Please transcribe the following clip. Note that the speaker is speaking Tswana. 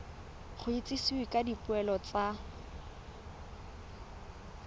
go itsisiwe ka dipoelo tsa